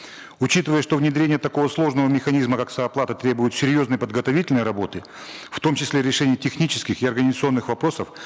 учитывая что внедрение такого сложного механизма как сооплата требует серьезной подготовительной работы в том числе решения технических и организационных вопросов